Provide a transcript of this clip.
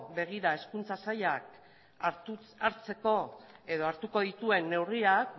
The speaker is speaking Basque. begira hizkuntza sailak hartzeko edo hartuko dituen neurriak